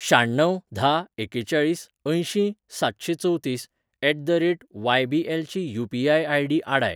शाण्णव धा एकेचाळीस अंयशीं सातशेंचवतीस at the rate Y B L ची यू.पी.आय. आय.डी. आडाय.